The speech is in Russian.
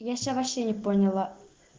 я сейчас вообще не поняла